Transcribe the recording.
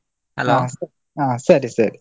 ಹ ಸರಿ ಸರಿ.